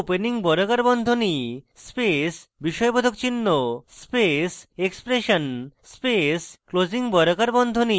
বা opening বর্গাকার বন্ধনী space বিস্ময়বোধক চিহ্ন space expression space closing বর্গাকার বন্ধনী